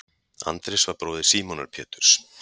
Andrés var bróðir Símonar Péturs.